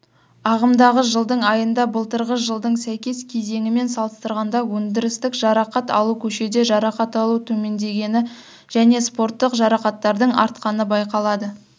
ағымдағы жылдың айында былтырғы жылдың сәйкес кезеңімен салыстырғанда өндірістік жарақат алу көшеде жарақат алу төмендегені және спорттық жарақаттардың артқаны байқалады